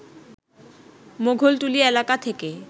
মোগলটুলি এলাকা থেকে